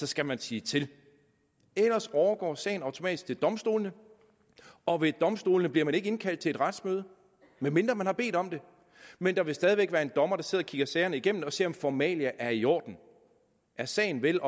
skal man sige til ellers overgår sagen automatisk til domstolene og ved domstolene bliver man ikke indkaldt til et retsmøde medmindre man har bedt om det men der vil stadig væk være en dommer der sidder og kigger sagerne igennem og ser om formalia er i orden er sagen vel